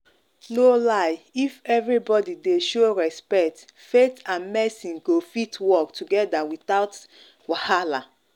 no lie if everybody dey show respect faith and medicine go fit work together without wahala.